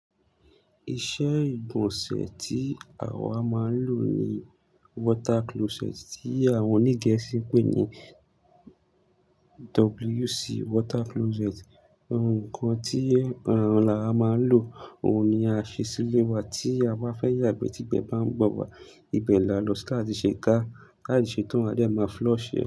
Iṣẹ́ ìgbọ̀nsẹ̀ tí àwa máa ń lò ni water closet tí àwọn oní Gẹ̀ẹ́sì pè ní WC water closet. Òǹkan tí ọ̀rọ̀ ń là máa ń lò, òun ni a ṣe sílé wa tí àwa fẹ́ yàgbẹ́ tí ibẹ̀ bá ń gbẹn wa, ibẹ̀ là lọ si tàtí ṣe gá tàba ṣe tán, adẹ máa flush ṣe.